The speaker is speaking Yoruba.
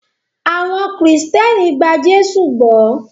Awon Kristẹni gba Jésụ gbó.